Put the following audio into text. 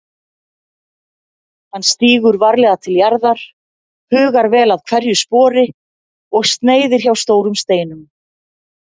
Hann stígur varlega til jarðar, hugar vel að hverju spori og sneiðir hjá stórum steinum.